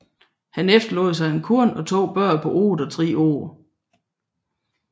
Han efterlod sig en kone og to børn på otte og tre år